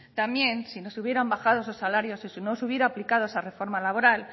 también si no se hubieran bajado esos salarios y si no se hubiera aplicado esa reforma laboral